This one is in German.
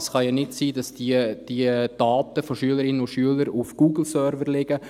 Es kann ja nicht sein, dass die Daten von Schülerinnen und Schülern auf Google-Servern liegen.